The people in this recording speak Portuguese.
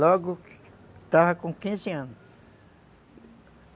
Logo, estava com quinze anos.